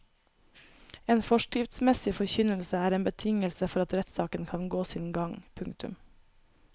En forskriftsmessig forkynnelse er en betingelse for at rettssaken kan gå sin gang. punktum